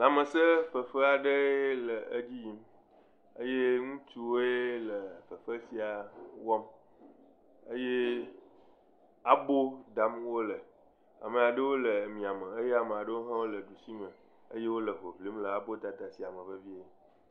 Lãmese fefe aɖe le edzi yim eye ŋutsuwoe nɔ fefe sia wɔm eye abo dam wole, ame aɖewo le ɖusi me eye ame aɖewo le miame eye wole hoŋlim le abo sia dada me vevie.